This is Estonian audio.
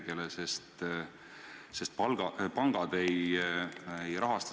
Suur tänu selle töö eest ja eelarve vastuvõtmise eest!